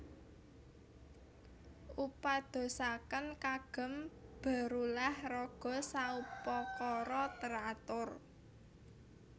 Upadosaken kagem berulah raga saupakara teratur